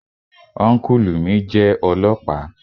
Ọ́nkùlù mi jẹ́ ọlọ́ọ̀pá